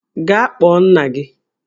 Gaa kpọọ nna gị!